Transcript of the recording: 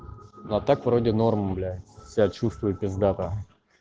но а так вроде норм блять себя чувствую пизда нахуй